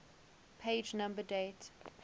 page number date